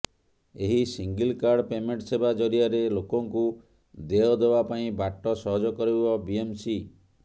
ଏହି single card payment ସେବା ଜରିଆରେ ଲୋକଙ୍କୁ ଦେୟ ଦେବା ପାଇଁ ବାଟ ସହଜ କରିବ ବିଏମ୍ସି